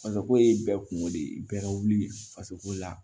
Fasako ye bɛɛ kungo de ye bɛɛ ka wuli fasoko la